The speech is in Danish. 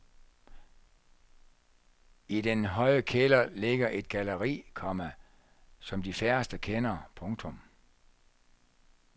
I den høje kælder ligger et galleri, komma som de færreste kender. punktum